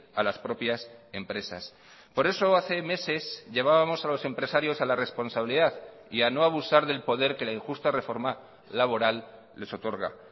a las propias empresas por eso hace meses llevábamos a los empresarios a la responsabilidad y a no abusar del poder que la injusta reforma laboral les otorga